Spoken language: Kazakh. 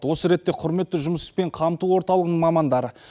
осы ретте құрметті жұмыспен қамту орталығының мамандары